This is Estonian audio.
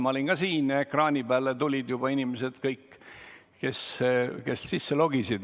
Ma olin ka siin ja nägin, et ekraani peale tulid juba kõik, kes sisse logisid.